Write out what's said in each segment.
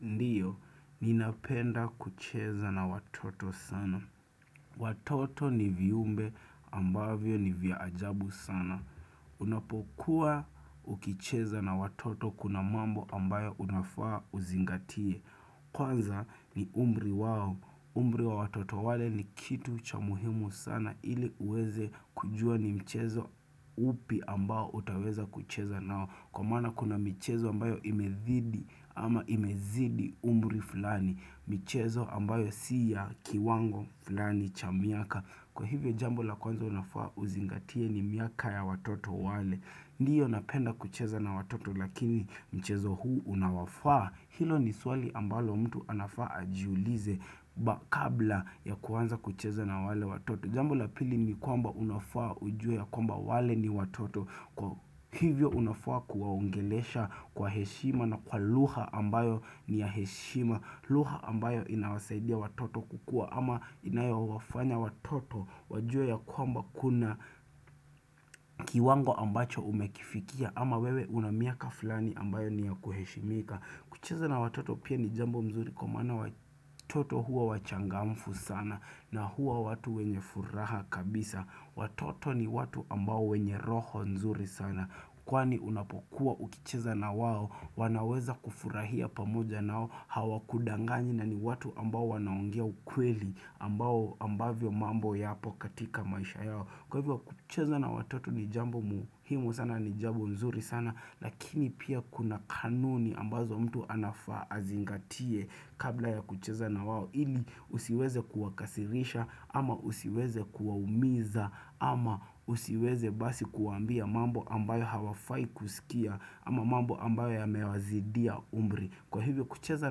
Ndiyo, ninapenda kucheza na watoto sana. Watoto ni viumbe ambavyo ni viajabu sana. Unapokuwa ukicheza na watoto kuna mambo ambayo unafaa uzingatie. Kwanza ni umri wawo. Umri wa watoto wale ni kitu cha muhimu sana ili uweze kujua ni mchezo upi ambayo utaweza kucheza nao. Kwa maana kuna mchezo ambayo imedhidi ama imezidi umuri fulani mchezo ambayo siya kiwango fulani cha miaka Kwa hivyo jambo la kwanza unafaa uzingatie ni miaka ya watoto wale Ndiyo napenda kucheza na watoto lakini mchezo huu unawafaa Hilo ni swali ambalo mtu anafaa ajiulize Bakabla ya kwanza kucheza na wale watoto Jambo la pili ni kwamba unafaa ujue ya kwamba wale ni watoto Kwa hivyo unafua kuwaungelesha kwa heshima na kwa luha ambayo ni ya heshima Luha ambayo inawasaidia watoto kukua ama inayo wafanya watoto Wajue ya kwamba kuna kiwango ambacho umekifikia ama wewe unamiaka fulani ambayo ni ya kuheshimika Kuchiza na watoto pia ni jambo mzuri kumana watoto hua wachangamfu sana na hua watu wenye furaha kabisa Watoto ni watu ambao wenye roho nzuri sana Kwani unapokuwa ukicheza na wao wanaweza kufurahia pamoja nao Hawa kudangani na ni watu ambao wanaongia ukweli ambavyo mambo ya pokatika maisha yao Kwa hivyo kucheza na watoto ni jambo muhimu sana ni jambo nzuri sana Lakini pia kuna kanuni ambazo mtu anafazingatie Kabla ya kucheza na wao ili usiweze kuwakasirisha ama usiweze kuwaumiza ama usiweze basi kuambia mambo ambayo hawafai kusikia ama mambo ambayo ya mewazidia umri. Kwa hivyo kucheza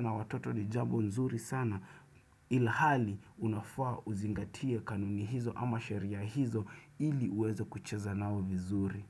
na watoto ni jambu nzuri sana ilhali unafua uzingatie kanuni hizo ama sheria hizo ili uweze kucheza nao vizuri.